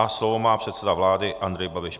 A slovo má předseda vlády Andrej Babiš.